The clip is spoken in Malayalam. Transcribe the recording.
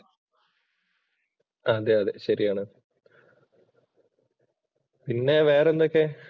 അതേയതെ ശരിയാണ്. പിന്നെ വേറെ എന്തൊക്കെ?